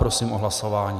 Prosím o hlasování.